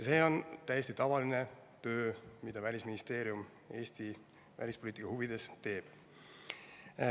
See on täiesti tavaline töö, mida Välisministeerium Eesti välispoliitika huvides teeb.